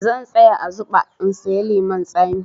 Zan tsaya a zuɓa in sayi lemun zaƙi.